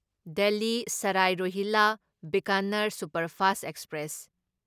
Delhi Sarai Rohilla Bikaner superfast express